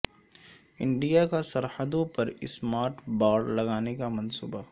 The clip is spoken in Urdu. انڈیا کا سرحدوں پر سمارٹ باڑ لگانے کا منصوبہ